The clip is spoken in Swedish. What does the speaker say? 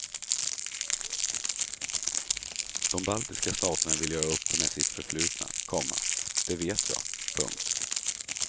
De baltiska staterna vill göra upp med sitt förflutna, komma det vet jag. punkt